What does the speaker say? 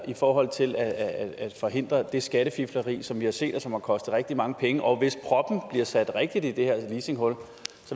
i forhold til at forhindre det skattefifleri som vi har set og som har kostet rigtig mange penge og hvis proppen bliver sat rigtigt i det her leasinghul